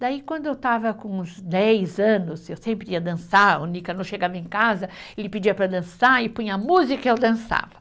Daí quando eu estava com uns dez anos, eu sempre ia dançar, o Nicanor chegava em casa, ele pedia para dançar e punha música e eu dançava.